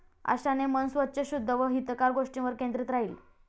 अशाने मन स्वच्छ, शुद्ध व हितकर गोष्टींवर केंद्रीत राहील.